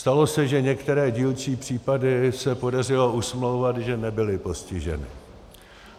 Stalo se, že některé dílčí případy se podařilo usmlouvat, že nebyly postiženy.